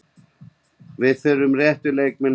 Við þurfum réttu leikmennina sem fyrst.